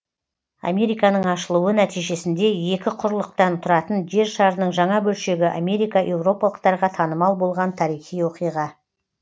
американың ашылуы нәтижесінде екі құрлықтан тұратын жер шарының жаңа бөлшегі америка еуропалықтарға танымал болған тарихи оқиға